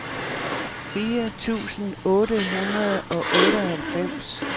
fire tusind otte hundrede og otteoghalvfems